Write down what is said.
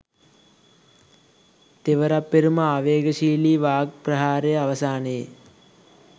තෙවරප්පෙරුම ආවේගශීලි වාග් ප්‍රහාරය අවසානයේ